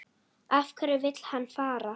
Af hverju vill hann fara?